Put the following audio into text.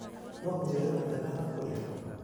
No ũnjĩre handũ hega ha kũrĩa ?